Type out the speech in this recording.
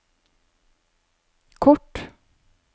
kort